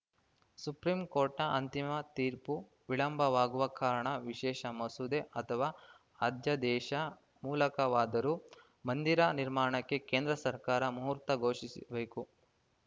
supreme ಕೋರ್ಟ್‌ನ ಅಂತಿಮ ತೀರ್ಪು ವಿಳಂಬವಾಗುವ ಕಾರಣ ವಿಶೇಷ ಮಸೂದೆ ಅಥವಾ ಅಧ್ಯಾದೇಶ ಮೂಲಕವಾದರೂ ಮಂದಿರ ನಿರ್ಮಾಣಕ್ಕೆ ಕೇಂದ್ರ ಸರ್ಕಾರ ಮುಹೂರ್ತ ಘೋಷಿಸಬೇಕು